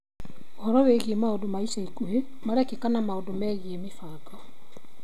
Ũhoro wĩgiĩ maũndũ ma ica ikuhĩ marekĩka na maũndũ megĩĩ mĩbango.